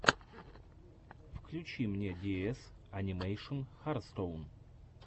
включи мне диэс анимэйшн хартстоун